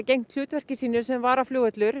sinnt hlutverki sínu sem varaflugvöllur